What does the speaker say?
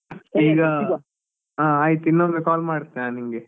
ಈಗ ಆ ಆಯ್ತು ಇನ್ನೊಮ್ಮೆ call ಮಾಡ್ತೇನೆ ನಾನ್ ನಿಂಗೆ.